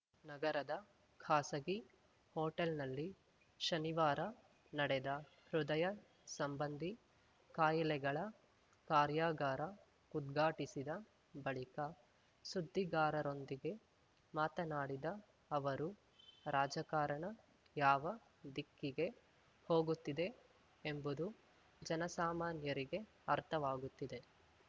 ನಗರದ ಖಾಸಗಿ ಹೋಟೆಲ್‌ನಲ್ಲಿ ಶನಿವಾರ ನಡೆದ ಹೃದಯ ಸಂಬಂಧಿ ಕಾಯಿಲೆಗಳ ಕಾರ್ಯಾಗಾರ ಉದ್ಘಾಟಿಸಿದ ಬಳಿಕ ಸುದ್ದಿಗಾರರೊಂದಿಗೆ ಮಾತನಾಡಿದ ಅವರು ರಾಜಕಾರಣ ಯಾವ ದಿಕ್ಕಿಗೆ ಹೋಗುತ್ತಿದೆ ಎಂಬುದು ಜನಸಾಮಾನ್ಯರಿಗೆ ಅರ್ಥವಾಗುತ್ತಿದೆ